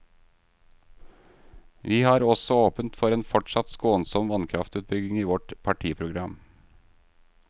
Vi har også åpent for en fortsatt skånsom vannkraftutbygging i vårt partiprogram.